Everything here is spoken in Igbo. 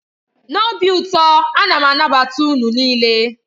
N'obi ụtọ, a na m anabata unu niile.